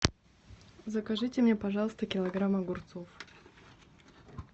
закажите мне пожалуйста килограмм огурцов